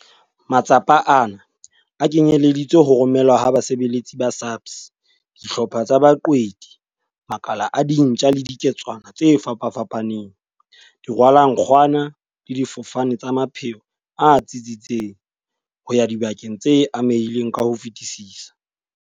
Matsapa ana a kenyeleditse ho romelwa ha basebeletsi ba SAPS, dihlopha tsa baqwedi, makala a dintja le diketswana tse fapafapaneng, dirwalankgwana le difofane tsa mapheo a tsitsitseng ho ya dibakeng tse amehileng ka ho fetisisa.